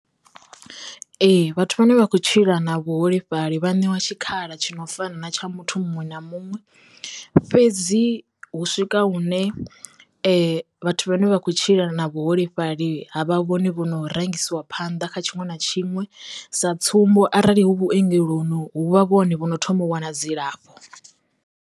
Ee vhathu vha ne vha khou tshila na vhuholefhali vha ṋewa tshikhala tshi no fana na tsha muthu muṅwe na muṅwe fhedzi hu swika hune vhathu vhane vha khou tshila na vhuholefhali ha vha vhone vho no rangisiwa phanḓa kha tshiṅwe na tshiṅwe sa tsumbo arali hu vhuengeloni hu vha vhone vhono thoma u wana dzilafho.